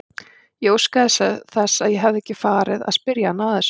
Ég óskaði þess að ég hefði ekki farið að spyrja hana að þessu.